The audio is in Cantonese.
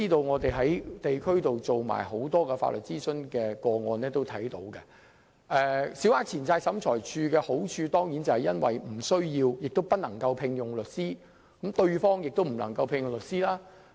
我們在地區曾處理很多法律諮詢個案，從中得知，審裁處的好處是訴訟雙方無需亦不能聘用律師，可避免產生律師費的風險。